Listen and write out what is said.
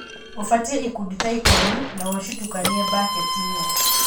ũbatie ikundi ta ikũmi na ũcitũkanie mbaketinĩ.